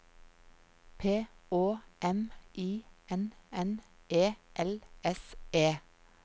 P Å M I N N E L S E